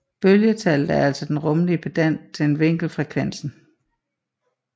Bølgetallet er altså den rumlige pendant til vinkelfrekvensen